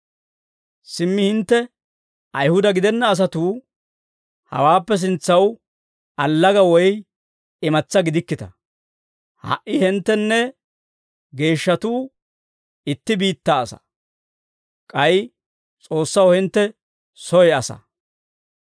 Simmi hintte Ayihuda gidenna asatuu hawaappe sintsaw allaga woy imatsaa gidikkita; ha"i hinttenne geeshshatuu itti biittaa asaa; k'ay S'oossaw hintte soy asaa.